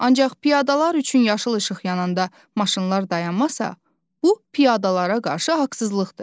Ancaq piyadalar üçün yaşıl işıq yananda maşınlar dayanmasa, bu piyadalara qarşı haqsızlıqdır.